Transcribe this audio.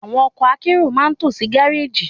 Àwọn ọkọ̀ akérò ma n tó sí gáréjì